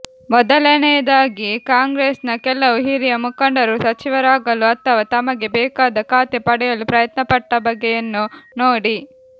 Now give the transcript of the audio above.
ಮೊದಲನೆಯದಾಗಿ ಕಾಂಗ್ರೆಸ್ನ ಕೆಲವು ಹಿರಿಯ ಮುಖಂಡರು ಸಚಿವರಾಗಲು ಅಥವಾ ತಮಗೆ ಬೇಕಾದ ಖಾತೆ ಪಡೆಯಲು ಪ್ರಯತ್ನ ಪಟ್ಟ ಬಗೆಯನ್ನು ನೋಡಿ